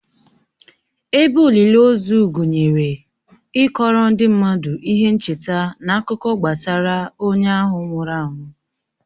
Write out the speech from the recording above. Ebe olili ozu gụnyere ịkọọrọ ndị mmadụ ihe ncheta na akụkọ gbasara onye ahụ nwụrụ anwụ.